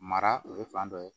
Mara o ye fan dɔ ye